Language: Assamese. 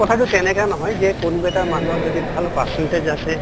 কথাটো তেনেকে নহয় যে কোনোবা এটা মানুহৰ যদি ভাল percentage আছে